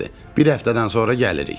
Bir həftədən sonra gəlirik.